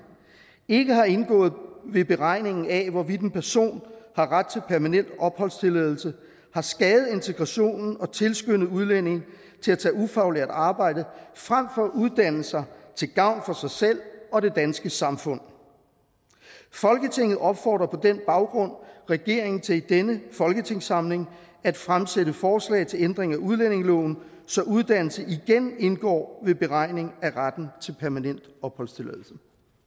ikke har indgået ved beregningen af hvorvidt en person har ret til permanent opholdstilladelse har skadet integrationen og tilskyndet udlændinge til at tage ufaglært arbejde frem for at uddanne sig til gavn for sig selv og det danske samfund folketinget opfordrer på den baggrund regeringen til i denne folketingssamling at fremsætte forslag til ændring af udlændingeloven så uddannelse igen indgår ved beregningen af retten til permanent opholdstilladelse